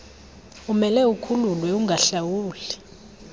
umele ukhululwe ungahlawuli